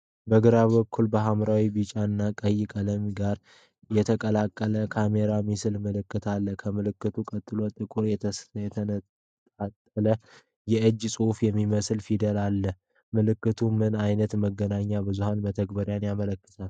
በግራ በኩል ከሐምራዊ፣ ቢጫ እና ቀይ ቀለሞች ጋር የተቀላቀለ ካሜራ የሚመስል ምልክት አለ። ከምልክቱ ቀጥሎ ጥቁር፣ የተንጣለለ የእጅ ጽሑፍ የሚመስል ፊደል አለ። ምልክቱ ምን ዓይነት የመገናኛ ብዙኃን መተግበሪያን ያመለክታል?